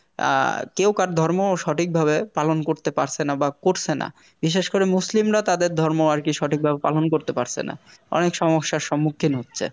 অ্যাঁ কেউ কার ধর্ম সঠিকভাবে পালন করতে পারছে না বা করছে না বিশেষ করে মুসলিমরা তাদের ধর্ম আরকি সঠিকভাবে পালন করতে পারছে না অনেক সমস্যার সম্মুখীন হচ্ছে